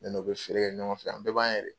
Ne n'o bɛ feere kɛ ɲɔgɔn fɛ, an bɛɛ b'an'yɛrɛ ye.